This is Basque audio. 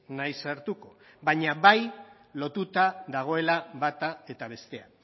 naiz sartuko baina bai lotuta dagoela bata eta bestea